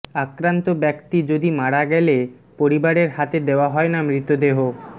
আক্রান্ত ব্যক্তি যদি মারা গেলে পরিবারের হাতে দেওয়া হয়না মৃতদেহ